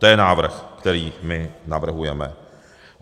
To je návrh, který my navrhujeme.